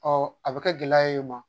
a be kɛ gɛlɛya ye u ma.